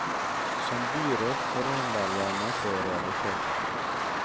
Som byråd forholder jeg meg til realiteter.